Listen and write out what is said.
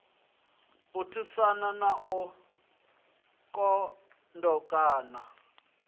u thusana na u londotana